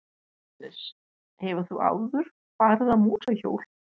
Jóhannes: Hefur þú áður farið á mótorhjól?